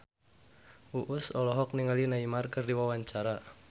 Uus olohok ningali Neymar keur diwawancara